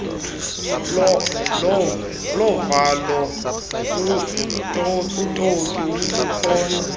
lovalo utoliko olukhoyo